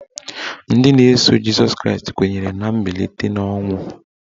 Ndị na-eso Jịsọs Kraịst kwenyere na mbilite n'ọnwụ.